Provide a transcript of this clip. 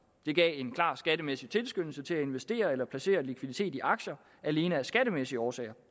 det gav en klar skattemæssig tilskyndelse til at investere eller placere likviditet i aktier alene af skattemæssige årsager